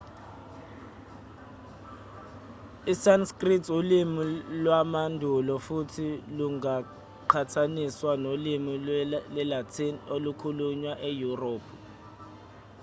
isanskrit ulimi lwamandulo futhi lungaqhathaniswa nolimi lwesilatin olukhulunywa eyurophu